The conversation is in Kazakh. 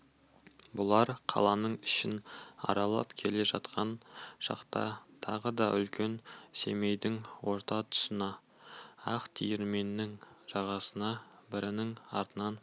бұлар қаланың ішін аралап келе жатқан шақта тағы да үлкен семейдің орта тұсына ақ диірменнің жағасына бірінің артынан